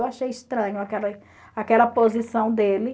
Eu achei estranho aquela posição dele.